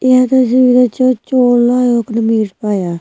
यह तस्वीर य च चु एक्ने मिर च पाया --